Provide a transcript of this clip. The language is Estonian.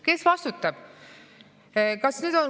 Kes vastutab?